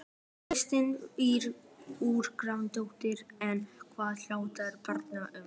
Kristín Ýr Gunnarsdóttir: En hvað fjallar barnasáttmálinn um?